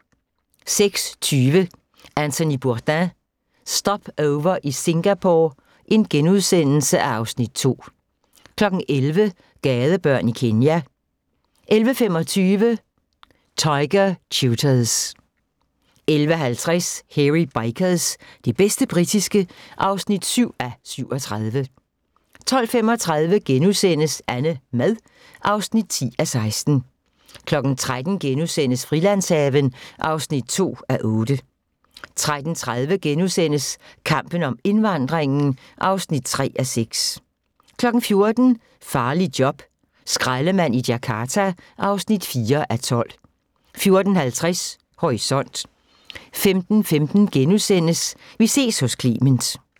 06:20: Anthony Bourdain – Stopover i Singapore (Afs. 2)* 11:00: Gadebørn i Kenya 11:25: Tiger tutors 11:50: Hairy Bikers – det bedste britiske (7:37) 12:35: AnneMad (10:16)* 13:00: Frilandshaven (2:8)* 13:30: Kampen om indvandringen (3:6)* 14:00: Farligt job - skraldemand i Jakarta (4:12) 14:50: Horisont 15:15: Vi ses hos Clement *